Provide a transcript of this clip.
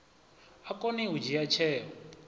a kone u dzhia tsheo